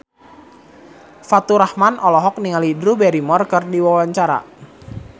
Faturrahman olohok ningali Drew Barrymore keur diwawancara